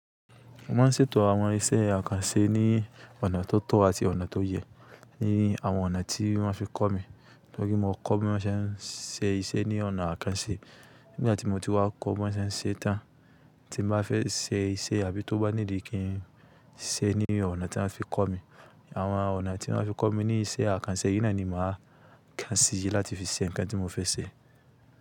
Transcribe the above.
Mo máa ń ṣètò àwọn iṣẹ́ àkànṣe ní ọ̀nà tó tọ́ àti ọ̀nà tó yẹ ní àwọn ọ̀nà tí wọ́n fi kọ́ mi. Tọ́rí mo kọ́ bí wọ́n ṣe ń ṣe iṣẹ́ ní ọ̀nà àkànṣe. Nígbà tí mo ti wá kọ́ bí wọ́n ṣe ń ṣe tán, tí n mo bá fẹ́ ṣe iṣẹ́ àbí tó bá ní di kí n ṣe ní ọ̀nà tí wọ́n fi kọ́ mi, àwọn ọ̀nà tí wọ́n fi kọ́ mi ní iṣẹ́ àkànṣe, yì náa ni màá kàn sí yí láti fi ṣe ǹkan tí mo fẹ́ ṣe.